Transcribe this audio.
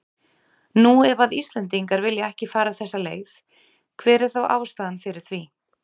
Nú ef að Íslendingar vilja ekki fara þessa leið, hver er þá ástæðan fyrir því?